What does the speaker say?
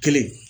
Kelen